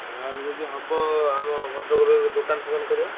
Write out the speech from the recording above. ନହେଲେ ଯଦି ହବ ଆମ ଭଦ୍ରକ ରେ ଦୋକାନ ଫୋକନ କରିବା।